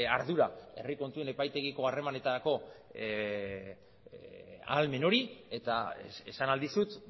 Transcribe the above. ardura herri kontuen epaitegiko harremanetarako ahalmen hori eta esan ahal dizut